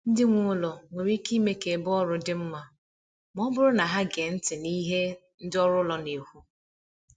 Ndị nwe ụlọ nwere ike ime ka ebe ọrụ dị mma, ma ọ bụrụ na ha ege ntị n’ihe ndị ọrụ ụlọ na-ekwu.